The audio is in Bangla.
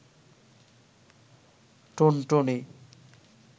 টুনটুনি